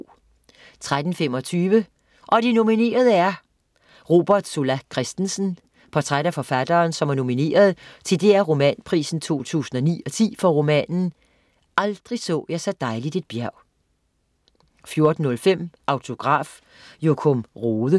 13.25 Og de nominerede er ... Robert Zola Christensen. Portræt af forfatteren, som er nomineret til DR Romanprisen 2009/10 for romanen "Aldrig så jeg så dejligt et bjerg" 14.05 Autograf: Jokum Rohde